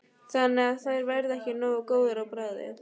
Þannig að þær verða ekki nógu góðar á bragðið?